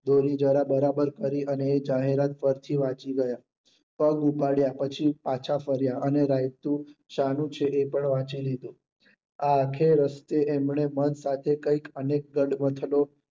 દોરી જરા બરાબર કરી અને એ જાહેરાત ફરી થી વાંચી ગયા પગ ઉપાડ્યા પછી પાછા ફર્યા અને રાયતું શાનું છે એ પણ વાંચી લીધું. આ આખે રસ્તે એમણે મન સાથે કઈક અનેક ગઢમંથનો